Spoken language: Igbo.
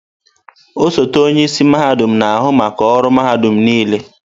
Osote onye isi mahadum na-ahụ maka ọrụ mahadum niile.